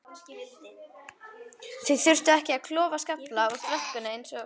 Þau þurftu ekki að klofa skafla upp brekkuna eins og